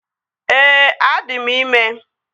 Ee, adị m ime